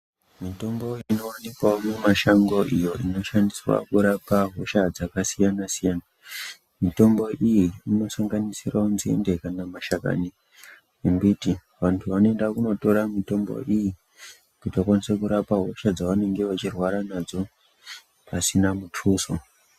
Mitombo inowanikwawo mumashango iyo inoshandiswa kurapa hosha dzakasiyana siyana, mitombo iyi inosanganisirawo nzinde kana mashakani embiti. Vantu vanoenda kunotora mitombo iyi kuti vakwanise kurapa hosha dzavanenge vachirwara nadzo pasina mutuso.